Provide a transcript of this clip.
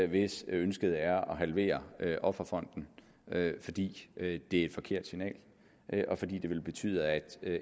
hvis ønsket er at halvere offerfonden fordi det er et forkert signal og fordi det ville betyde at